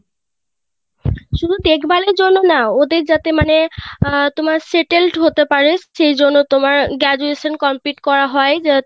শুধু দেখভালের জন্যই না ওদের যাতে মানে আহ settled হতে পারে সেই জন্য তোমার Graduation complete করা হয়